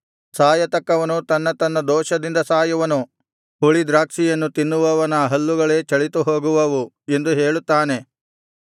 ಸಾಯತಕ್ಕವನು ತನ್ನ ತನ್ನ ದೋಷದಿಂದ ಸಾಯುವನು ಹುಳಿದ್ರಾಕ್ಷಿಯನ್ನು ತಿನ್ನುವವನ ಹಲ್ಲುಗಳೇ ಚಳಿತುಹೋಗುವವು ಎಂದು ಹೇಳುತ್ತಾನೆ